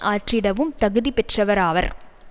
ஆற்றிடவும் தகுதி பெற்றவராவர்